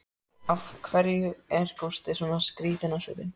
Og af hverju er Gústi svona skrýtinn á svipinn?